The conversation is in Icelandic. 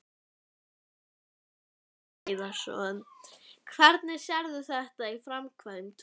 Magnús Hlynur Hreiðarsson: Hvernig sérðu þetta í framkvæmd?